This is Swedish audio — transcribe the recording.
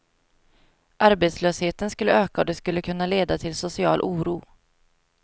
Arbetslösheten skulle öka och det skulle kunna leda till social oro.